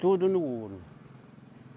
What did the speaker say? Tudo no ouro.